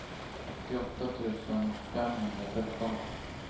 åttioåtta tusen femhundratretton